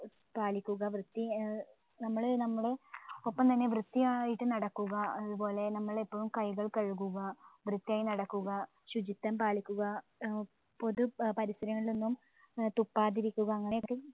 പാലിക്കുക വൃത്തി ഏർ നമ്മള് നമ്മള ഒപ്പം തന്നെ വൃത്തിയായിട്ട് നടക്കുക അത്‌പോലെ നമ്മളിപ്പോ കൈകൾ കഴുകുക വൃത്തിയായി നടക്കുക ശുചിത്വം പാലിക്കുക പൊതു പരിസരങ്ങളിലൊന്നും ഏർ തുപ്പാതിരിക്കുക അങ്ങനെയൊക്കെ